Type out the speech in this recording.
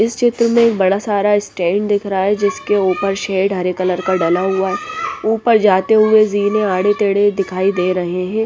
इस चित्र में बड़ा सारा स्टैंड दिख रहा हैं जिसके ऊपर शेड हरे कलर का डला हुआ हैं ऊपर जाते हुए जीने आड़े तेढ़े दिखाई दे रहे हैं।